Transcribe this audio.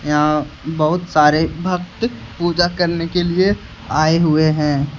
यहा बहुत सारे भक्त पूजा करने के लिए आए हुए हैं।